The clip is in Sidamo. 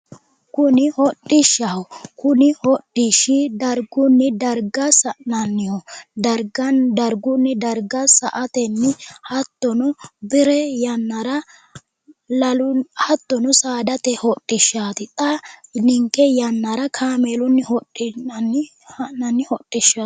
Kuni hodhishshaho kuni hodhishshi dargunni darga sa'nanniho dargunni darge sa"atenni hattono biree yannara baalu hattono saadate hodhishsha xa ninke yannara kaameelunni hodhinanni ha'nannihu hodhishshaho